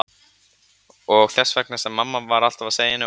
Og þess vegna sem mamma var alltaf að segja henni og